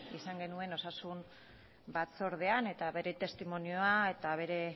izan genuen osasun batzordean eta bere testimonioa eta bere